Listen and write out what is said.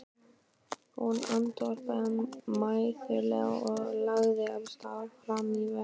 Hún andvarpaði mæðulega og lagði af stað fram í vagninn.